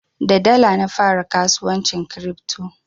Da dala na fara kasuwancin kiripto.